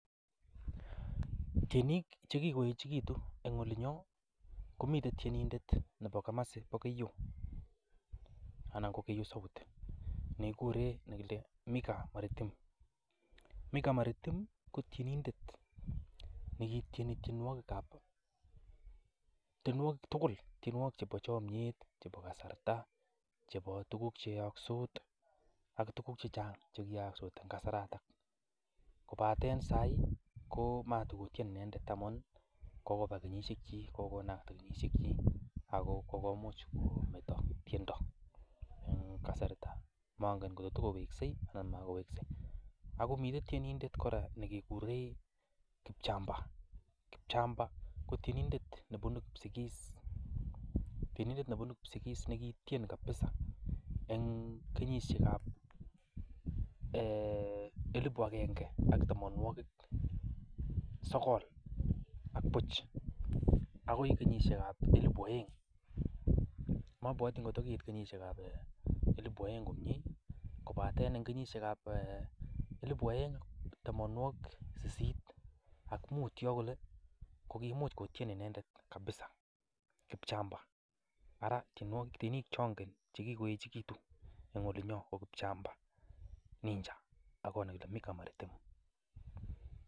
Tienik ch ekigoechegitun en olinyon komiten tienindet nebo komasi bo Keiyo anan ko Keiyo South nekigure Micah Maritim. Micah Maritim ko tienindet negityeni tienwogikab, tienwogik tugul; tienwogik chebo chomyet, chebo kasarta, chebo tuguk che yookse ak tuguk che chang che kiyaakse en kasarta. Kobate saii ko magotyeni inendet amun kogoba keyishek chik kogonam koba kenyishekyik ago kogomuch kometo tiendo en kasarito. Mongen ngotko togowekse anan magowekse. Ago miten tienindet kora nekekuren Kipchamba. Ko Kipchamba ko tienindet nebunu Kipsigis negitien kabisa en kenyishek ab elibu agenge ak tamanwogik sogol ak buch agoi kenyishek ab elibu oeng. Mobwoti kotko keit kenyishek ab elibu oeng komye kobaten en kenyishekab elibu oeng tamanwogik sisit ak mut yon kole kimuch kotyen inendet kabisa Kipchamba. Ara tienik che ongen che kigoechegitu en olinyon ko Kipchamba ninja ak nekile Micah Maritim.